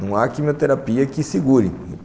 Não há quimioterapia que segure.